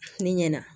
Ne ɲɛna